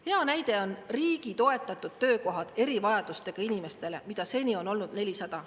Hea näide on riigi toetatud töökohad erivajadustega inimestele, mida seni on olnud 400.